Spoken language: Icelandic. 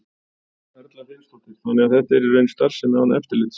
Erla Hlynsdóttir: Þannig að þetta er í raun starfsemi án eftirlits?